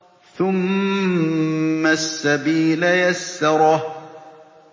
ثُمَّ السَّبِيلَ يَسَّرَهُ